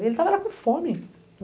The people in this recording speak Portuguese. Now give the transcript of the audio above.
Ele estava era com fome.